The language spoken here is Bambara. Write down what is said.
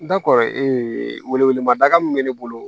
Da kɔrɔ ee wele ma daga min bɛ ne bolo